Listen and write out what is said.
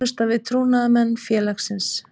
Þjónusta við trúnaðarmenn félagsins.